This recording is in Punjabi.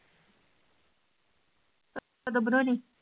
ਕਦੋਂ ਬਣਾਉਣੀ?